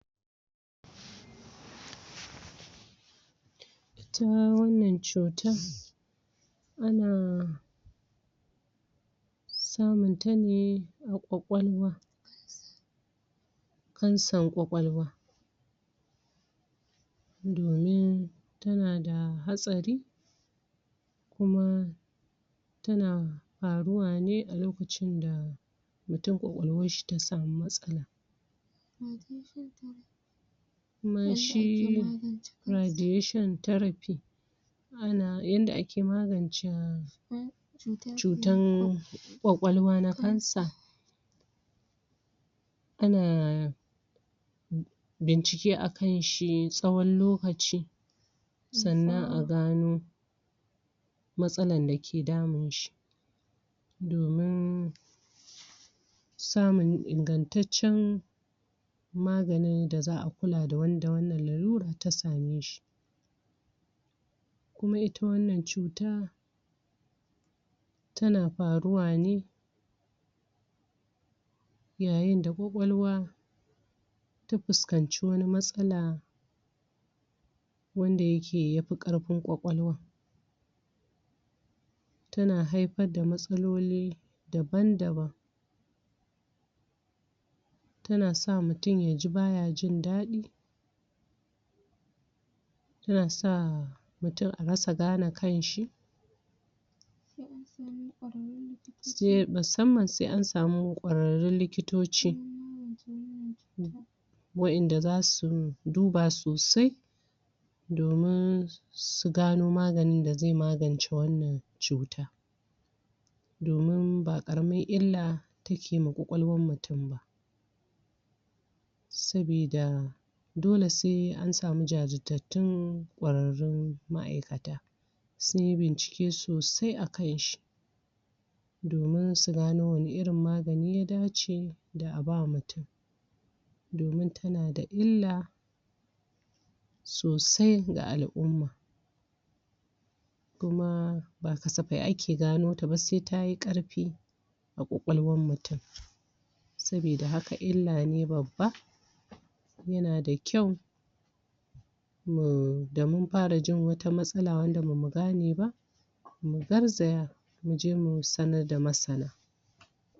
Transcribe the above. Ita wannan cutar ana samunta ne a ƙwaƙwalwa kansar ƙwaƙwalwa domin tana da hatsari kuma tana faruwa ne a lokacin da mutum ƙwaƙwalwarshi ta samu matsala. kuma shi Radiation Therapy ana yanda ake magance cutar ƙwaƙwalwa na cancer ana bincike a kanshi tsawon lokaci sannan a gano matsalan da ke damun shi. domin samun ingantaccen maganin da za a kula da wanda wannan lalurar ta same shi. kuma ita wannan cuta tana faruwa ne yayin da ƙwaƙwalwa ta fuskanci wani matsala wanda yake ya fi ƙarfin ƙwaƙwalwar. tana haifar da matsaloli dabam-daban tana sa mutum ya ji baya jin daɗi tana sa mutum a rasa gane kanshi [] musamman sai an samu ƙwararrun likitoci waɗanda za su duba sosai domin su gano maganin da zai magance wannan cuta. domin ba ƙaramin illa ta ke yi wa ƙwaƙwalwar mutum ba sabida dole sai an samu jajirtattun ƙwararrun ma'aikata sun yi bincike soasi a kanshi. domin su gano wane irin magani ya dace a ba mutum. domin tana da illa, sosai ga al'umma kuma ba kasafai ake gano ta ba sai tay ƙarfi a ƙwaƙwalwar mutum. Saboda haka illa ne babba, yana da kyau da mun fara jin wata matsala wadda ba mu gane ba mu garzaya mu je mu samar da masana.